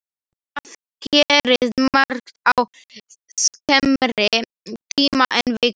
Það gerist margt á skemmri tíma en viku.